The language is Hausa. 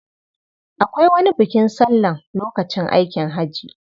Akwai wani bukin sallan lokacin aikin haji.